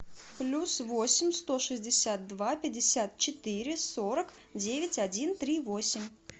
плюс восемь сто шестьдесят два пятьдесят четыре сорок девять один три восемь